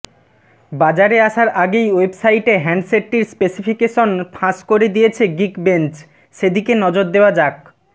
বাজারে আসার আগেই ওয়েবসাইটে হ্যান্ডসেটটির স্পেসিফিকেশন ফাঁস করে দিয়েছে গিকবেঞ্চ সেদিকে নজর দেওয়া যাক